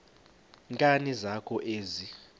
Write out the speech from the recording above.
nkani zakho ezi